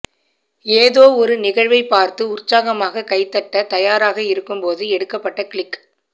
ஏதோ ஒரு நிகழ்வை பார்த்து உற்சாகமாக கைத்தட்ட தயாராக இருக்கும் போது எடுக்கப்பட்ட கிளிக்